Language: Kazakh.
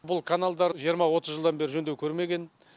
бұл каналдар жиырма отыз жылдан бері жөндеу көрмеген